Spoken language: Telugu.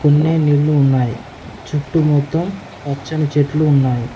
కొన్ని నీళ్లు ఉన్నాయి చుట్టు మొత్తం పచ్చని చెట్లు ఉన్నాయి.